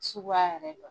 Suguya yɛrɛ don